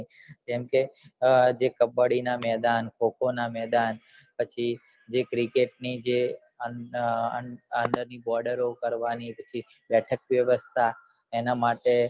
જેમકે જે કબ્બડી ના મેદાન ખો ખો ના મેદાન પછી જે cricket ની આવનારી બોડરો પડવાની બેઠક વેવસ્થા એના માટે